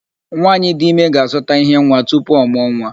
Nwaanyị dị ime ga-azụta íhé nwa tupu ọ mụọ nwa.